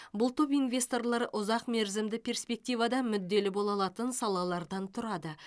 бұл топ инвесторлар ұзақмерзімді перспективада мүдделі бола алатын салалардан тұрады